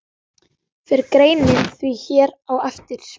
Fer greinin því hér á eftir.